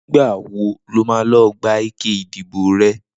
Nigbà wó ló mà lọ gbá iké idibó rè?